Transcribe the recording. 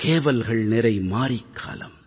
கேவல்கள்நிறை மாரிக்காலம்